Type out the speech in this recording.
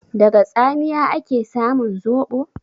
Daga tsamiya ake samun zoɓo?